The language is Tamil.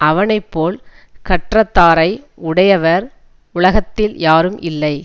அவனை போல் கற்றத்தாரை உடையவர் உலகத்தில் யாரும் இல்லை